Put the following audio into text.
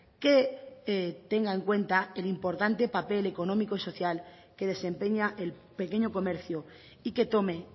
que tenga en cuenta el importante papel económico y social que desempeña el pequeño comercio y que tome